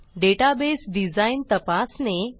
database design तपासणे